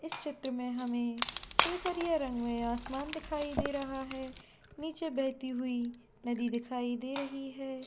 इस चित्र में हमें केसरिया रंग आसमान दिखाई दे रहा हैनीचे बहती हुई नदी दिखाएं बहती हुई दिखाई दे रही है।